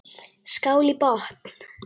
Skál í botn!